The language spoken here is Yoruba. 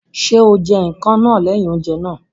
Ṣé o jẹ ikàn náà lẹ́yìn oúnjẹ náà?